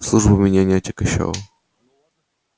служба меня не отягощала